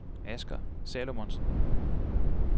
Asger Salomonsen